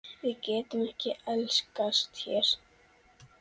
Við getum ekki elskast hér.